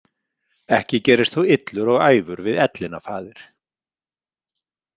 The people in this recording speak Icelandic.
Ekki gerist þú illur og æfur við ellina, faðir?